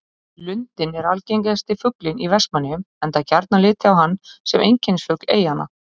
Lundinn er algengasti fuglinn í Vestmannaeyjum enda gjarnan litið á hann sem einkennisfugl eyjanna.